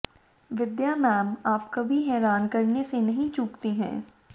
विद्या ma'am आप कभी हैरान करने से नहीं चूकती हैं